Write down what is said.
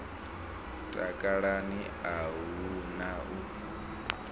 takalani a hu na u